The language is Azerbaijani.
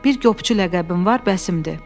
Bir qopçu ləqəbim var, bəsimdir.